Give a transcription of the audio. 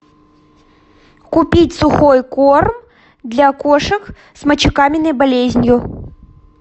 купить сухой корм для кошек с мочекаменной болезнью